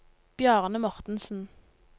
Bjarne Mortensen